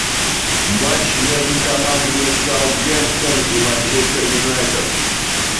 матч между командами саутгемптон и манчестер юнайтед